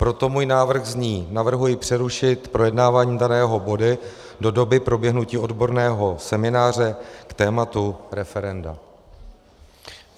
Proto můj návrh zní: Navrhuji přerušit projednávání daného bodu do doby proběhnutí odborného semináře k tématu referenda.